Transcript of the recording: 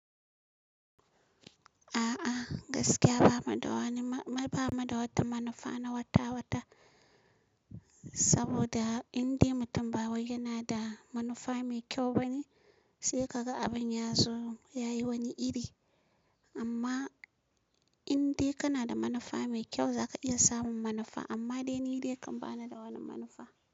A'a gaskiya ba mu da wani, ba mu da wata manufa na wata-wata saboda indai mutum ba wai yana da manufa mai kyau bane, sai ka ga abin yazo yayi wani iri amma indai kana da manufa mai kyau, zaka iya samun manufa amma dai ni dai kan ba ni da wani manufa.